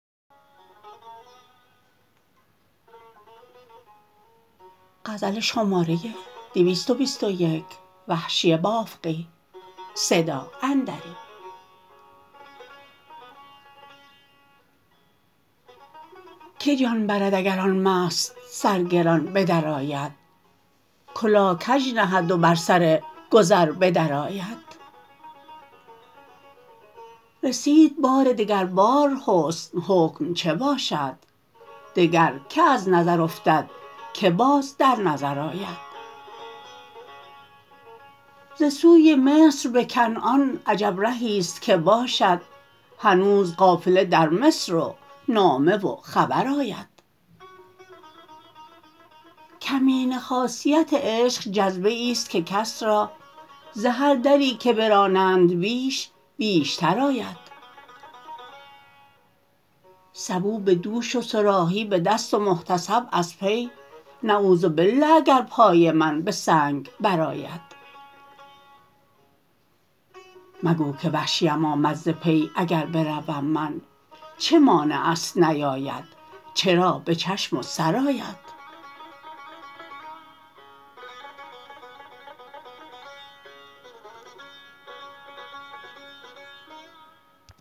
که جان برد اگر آن مست سرگران بدرآید کلاه کج نهد و بر سر گذر بدر آید رسید بار دگر بار حسن حکم چه باشد دگر که از نظر افتد که باز در نظر آید ز سوی مصر به کنعان عجب رهیست که باشد هنوز قافله درمصر و نامه و خبر آید کمینه خاصیت عشق جذبه ایست که کس را ز هر دری که برانند بیش بیشتر آید سبو به دوش و صراحی به دست و محتسب از پی نعوذبالله اگر پای من به سنگ بر آید مگو که وحشیم آمد ز پی اگر بروم من چه مانع است نیاید چرا به چشم و سر آید